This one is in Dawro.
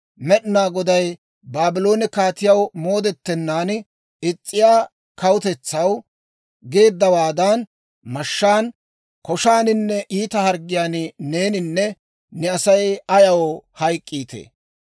Med'inaa Goday Baabloone kaatiyaw moodettenaan is's'iyaa kawutetsaw geeddawaadan mashshaan, koshaaninne iita harggiyaan neeninne ne Asay ayaw hayk'k'iitee?